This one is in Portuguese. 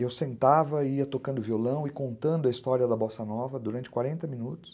Eu sentava, ia tocando violão e contando a história da Bossa Nova durante quarenta minutos.